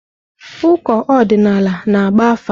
Ụkọ ọdịnala na-agba afa.